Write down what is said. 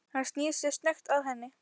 Hann snýr sér snöggt að henni.